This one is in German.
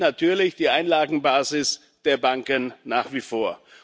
Das schwächt natürlich die Einlagenbasis der Banken nach wie vor.